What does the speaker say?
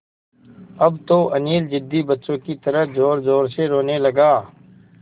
अब तो अनिल ज़िद्दी बच्चों की तरह ज़ोरज़ोर से रोने लगा